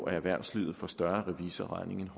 at erhvervslivet får større revisorregninger